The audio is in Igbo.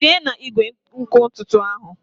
Tinye na igwe nkụ ntutu ahụ!